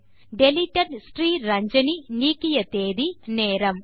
deleted Sriranjani நீக்கிய தேதி நேரம்